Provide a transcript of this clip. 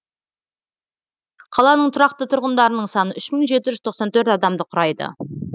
қаланың тұрақты тұрғындарының саны үш мың жеті жүз тоқсан төрт адамды құрайды